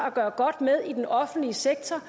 at gøre godt med i den offentlige sektor